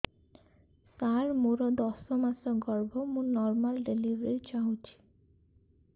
ସାର ମୋର ଦଶ ମାସ ଗର୍ଭ ମୁ ନର୍ମାଲ ଡେଲିଭରୀ ଚାହୁଁଛି